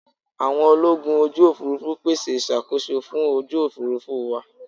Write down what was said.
Àwọn ológun ojú Òfurufú pèsè ìṣàkóso fún ojú Òfurufú wa.